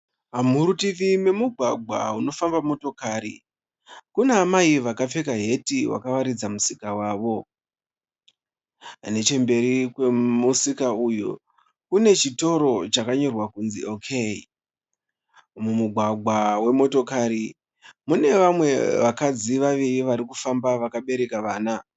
Muruti memugwagwa unofamba motokari. Kuna amai vakapfeka heti vakawaridza musika wavo. Nechemberi kwemusika uyu kune chitoro chakanyorwa kunzi OK. Mumugwagwa wemotokari mune vamwe vakadzi vaviri vari kufamba vakabereka vana.